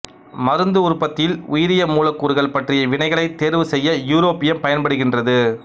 மருந்து உற்பத்தியில் உயிரியமூலக்கூறுகள் பற்றிய வினைகளைத் தேர்வு செய்ய யூரோப்பியம் பயன்படுகின்றது